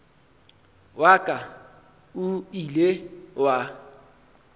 wa ka o ile wa